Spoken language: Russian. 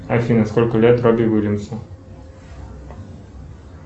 афина сколько лет робби уильямсу